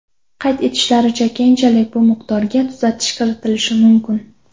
Qayd etishlaricha, keyinchalik bu miqdorga tuzatish kiritilishi mumkin.